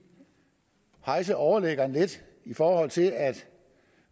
at hejse overliggeren lidt i forhold til at